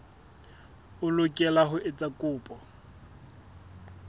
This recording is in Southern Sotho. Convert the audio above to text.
o lokela ho etsa kopo